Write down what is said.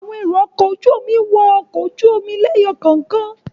Àwọn èrò-ọkọ̀ wọ inú ọkọ̀ ojú-omi lẹ́yọ kọ̀ọ̀kan.